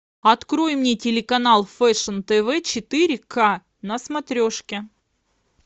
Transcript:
открой мне телеканал фэшн тв четыре ка на смотрешке